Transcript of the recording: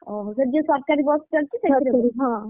ଅହସେଠି ଯୋଉ ସରକାରୀ ବସ ଚାଲିଛି?